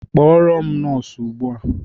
Kpọrọ m nọọsụ ugbua!